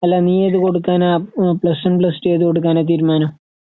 അല്ല നീയേത്കൊടുക്കാനാ അഹ് പ്ലസ്‌വൺപ്ലസ്ടു ഏത്കൊടുക്കാനാതീരുമാനം?